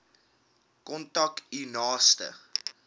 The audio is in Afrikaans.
kontak u naaste